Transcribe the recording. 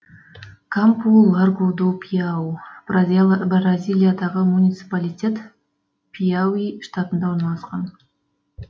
кампу ларгу ду пиауи бразилиядағы муниципалитет пиауи штатында орналасқан